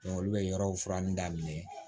olu bɛ yɔrɔw furanni daminɛ